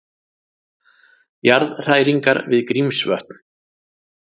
Jarðhræringar við Grímsvötn